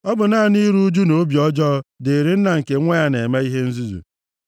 Ọ bụ naanị iru ụjụ na obi ọjọọ dịịrị nna nke nwa ya na-eme ihe nzuzu.